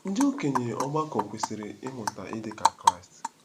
Ndị okenye ọgbakọ kwesịrị ịmụta ịdị ka Kraịst.